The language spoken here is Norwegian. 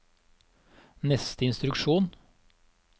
neste instruksjon